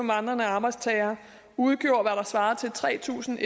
vandrende arbejdstagere udgjorde hvad der svarer til tre tusind